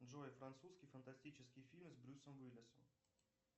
джой французский фантастический фильм с брюсом уиллисом